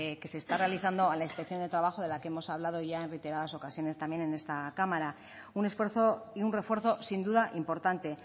que se está realizando a la inspección de trabajo de la que hemos hablado ya en reiteradas ocasiones en esta cámara un esfuerzo y un refuerzo sin duda importante